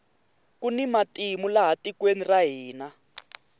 kuni matimu laha tikweni ra hina